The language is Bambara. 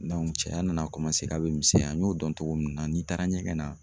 cɛya nana a bɛ misɛnya n y'o dɔn cogo min na n'i taara ɲɛgɛn na.